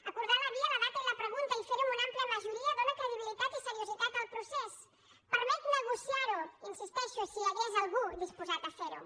acordar la via la data i la pregunta i fer ho amb una àmplia majoria dóna credibilitat i seriositat al procés permet negociar ho hi insisteixo si hi hagués algú disposat a ferho